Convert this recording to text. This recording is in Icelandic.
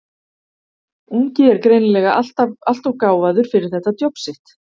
ungi er greinilega alltof gáfaður fyrir þetta djobb sitt.